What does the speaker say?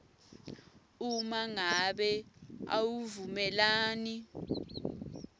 uma ngabe awuvumelani